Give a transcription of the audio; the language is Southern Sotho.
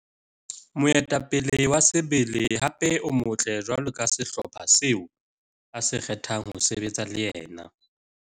Moetapele wa sebele hape o motle jwalo ka sehlopha seo a se kgethang ho sebetsa le yena.